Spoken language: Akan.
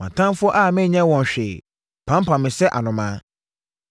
Mʼatamfoɔ a menyɛɛ wɔn hwee pampam me sɛ anomaa.